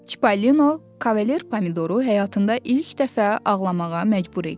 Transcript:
Çipollino Kavalier Pomidoru həyatında ilk dəfə ağlamağa məcbur eləyir.